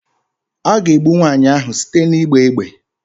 A ga-egbu nwaanyị ahụ site n'ịgba égbè